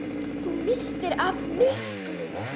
Þú misstir af miklu!